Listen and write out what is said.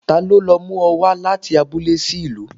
Talọ́ lo mu ọ wa láti abúlé sí ìlú?